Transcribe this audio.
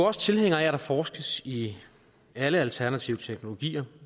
også tilhængere af at der forskes i alle alternative teknologier